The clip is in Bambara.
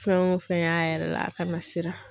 Fɛn o fɛn y'a yɛrɛ la a ka na siran.